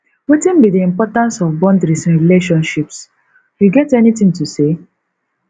wetin be di importance of boundaries in relationships you get anything to say